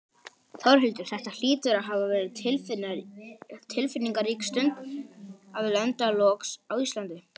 Þórhildur, þetta hlýtur að hafa verið tilfinningarík stund að lenda loks á Íslandi?